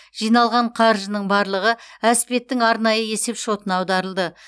жиналған қаржының барлығы әспеттің арнайы есеп шотына аударылды